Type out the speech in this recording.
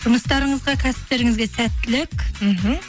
жұмыстарыңызға кәсіптеріңізге сәттілік мхм